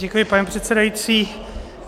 Děkuji, pane předsedající.